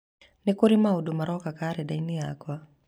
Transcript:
Nĩ kũrĩ maũndũ maroka karenda-inĩ yakwa.